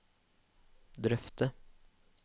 drøfte